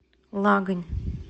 лагань